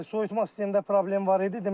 Bəli, soyutma sistemində problem var idi.